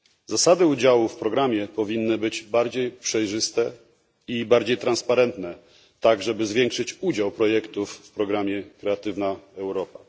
Zasady udziału w programie powinny być bardziej przejrzyste i bardziej transparentne, aby zwiększyć udział projektów w programie Kreatywna Europa.